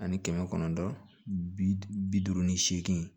Ani kɛmɛ kɔnɔntɔn bi duuru ni seegin